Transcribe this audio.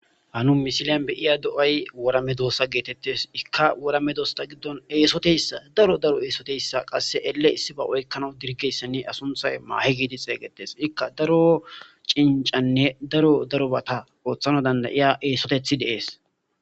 Ha nu misilen be'ya do'ay wora meedosa yaagetees. Ikka wora meedosata gidon eesotiyassa daro daro eesotiyayssa qasse elle issiba oykkanaw dirgiyayssanne a sunththay maahe geteththi xeegeetees. Ikka daro cinccanne daro darobaata ooththanaw danda'ya eesoteththi de'ees.